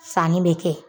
Sanni bɛ kɛ